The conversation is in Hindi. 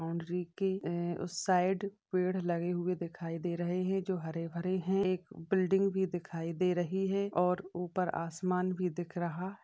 बाउंड्री के उस साइड पेड़ लगे हुए दिखाई दे रहे है जो हरे भरे है एक बिल्डिंग भी दिखाई दे रहे है और ऊपर आसमान भी दिख रहा --